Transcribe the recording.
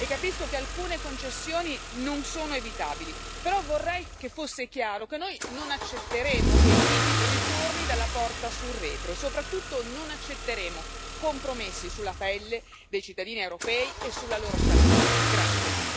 Signora Commissaria, capisco che non è facile trovare una via d'uscita e capisco che alcune concessioni non sono evitabili, però vorrei che fosse chiaro che noi non accetteremo che il TTIP ritorni dalla porta sul retro, e soprattutto non accetteremo compromessi sulla pelle dei cittadini europei e sulla loro salute.